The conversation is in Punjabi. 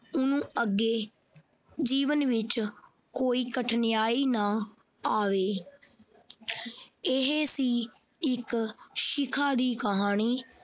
ਊਂ ਅੱਗੇ ਜੀਵਨ ਵਿੱਚ ਕੋਈ ਕਠਿਨਾਈ ਨਾ ਆਵੇ ਇਹ ਸੀ ਇੱਕ ਸ਼ਿਖਾ ਦੀ ਕਹਾਣੀ।